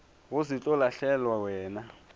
go se tlo lahlelwa wena